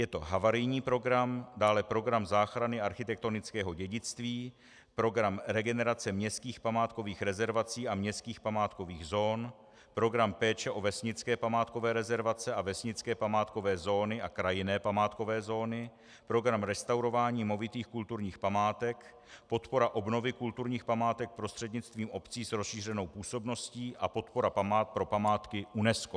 Je to havarijní program, dále program záchrany architektonického dědictví, program regenerace městských památkových rezervací a městských památkových zón, program péče o vesnické památkové rezervace a vesnické památkové zóny a krajinné památkové zóny, program restaurování movitých kulturních památek, podpora obnovy kulturních památek prostřednictvím obcí s rozšířenou působností a podpora pro památky UNESCO.